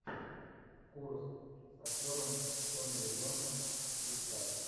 курск с актером томми ли джонсом искать